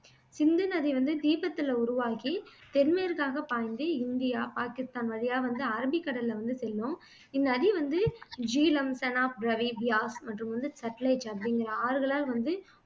சிந்துநதி வந்து தீபத்துல உருவாகி தென்மேற்காக பாய்ந்து இந்தியா, பாகிஸ்தான் வழியா வந்து அரபிக்கடல்ல வந்து செல்லும் இந்த நதி வந்து ஜீலம், செனாப், ரவி, பியாஸ் மற்றும் வந்து சட்லெஜ் அப்படிங்குற ஆறுகளால் வந்து